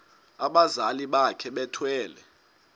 abazali bakhe bethwele